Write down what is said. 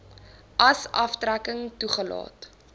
as aftrekking toegelaat